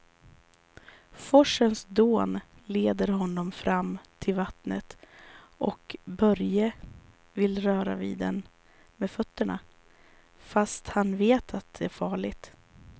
Forsens dån leder honom fram till vattnet och Börje vill röra vid det med fötterna, fast han vet att det är farligt.